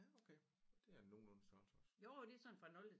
Ja okay det er en nogenlunde størrelse også